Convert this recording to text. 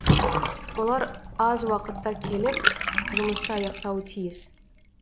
олар аз уақытта келіп жұмысты аяқтауы тиіс